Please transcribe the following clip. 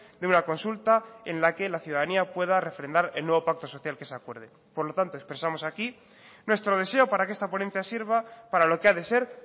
de una consulta en la que la ciudadanía pueda refrendar el nuevo pacto social que se acuerde por lo tanto expresamos aquí nuestro deseo para que esta ponencia sirva para lo que ha de ser